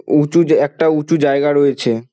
উঁচু জা একটা উঁচু জায়গা রয়েছে।